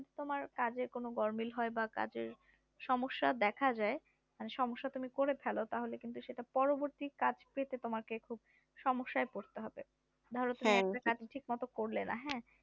তোমার কাজের যদি গরমিল হয় বা কাজের সমস্যা দেখা যাই মানে সমস্যা তুমি করে ফেলো তাহলে কিন্তু সেটা পরবর্তী কাজ পেতে তোমাকে খুব সমস্যায় পড়তে হবে ধরো তুমি একটা কাজ ঠিক মতো করলেন